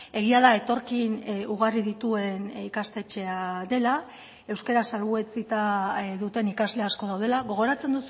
egia da etorkin ugari dituen ikastetxea dela euskara salbuetsita duten ikasle asko daudela gogoratzen